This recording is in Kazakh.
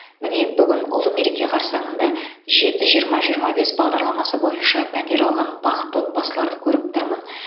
міне бүгін ұлы мереке қарсаңында жеті жиырма жиырма бес бағдарламасы бойынша пәтер алған бақытты отбасыларды көріп тұрмын